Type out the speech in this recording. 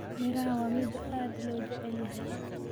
Miraha waa midho aad loo jecel yahay.